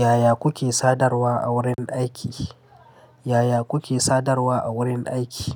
Yaya kuke sadarwa a wurin aiki? Yaya kuke sadarwa a wurin aiki?